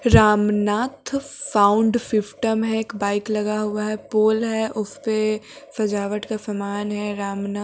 Ramnath sound system है एक bike लगा हुआ है पोल है उसपे सजावट का समान है राम न --